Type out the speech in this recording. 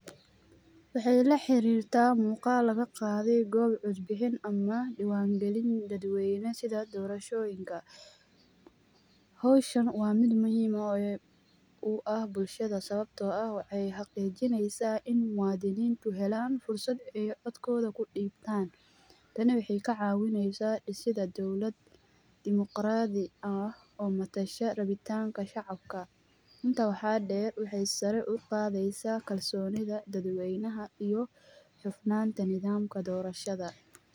Waxeey la xarirtaa muqaal laga qaaday goob cod bixin ama diwaan galin dad weyne sida doorashoyinka .Howshan waa mid muhiim u ah bulshada ,sawabtoo ah waxeey xaqijineysaa in muwadiniintu helaan fursad ay codkooda ku dhibtaan ,tani waxeey ka caawineysaa dhisidda dowlad demoqraadi ah oo matasha rabitaanka shacabka ,intaa waxaa dheer waxeey sare u qadeysaa kalsoonida dad weynaha iyo hufnaanta nidaamka doorashada .